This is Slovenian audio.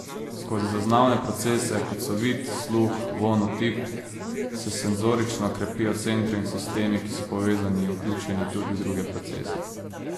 Skozi zaznavne procese, kot so vid, sluh, vonj, otip, se senzorično krepijo centri in sistemi, ki so povezani in vključeni tudi v druge procese.